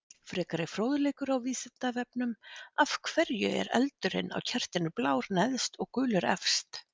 Frekari fróðleikur á Vísindavefnum: Af hverju er eldurinn á kertinu blár neðst og gulur efst?